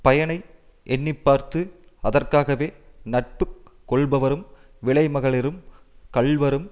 பயனை எண்ணிப்பார்த்து அதற்காகவே நட்பு கொள்பவரும் விலைமகளிரும் கள்வரும்